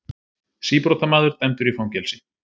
Síbrotamaður dæmdur í fangelsi